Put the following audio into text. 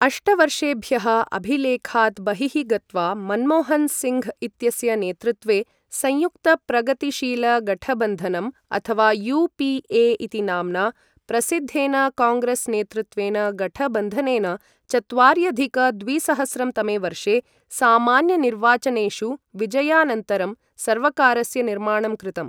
अष्टवर्षेभ्यः अभिलेखात् बहिः गत्वा, मन्मोहन् सिङ्घ् इत्यस्य नेतृत्वे संयुक्तप्रगतिशीलगठबन्धनम्, अथवा यू पी ए इति नाम्ना प्रसिद्धेन काङ्ग्रेस् नेतृत्वेन गठबन्धनेन चत्वार्यधिक द्विसहस्रं तमे वर्षे सामान्यनिर्वाचनेषु विजयानन्तरं सर्वकारस्य निर्माणं कृतम्।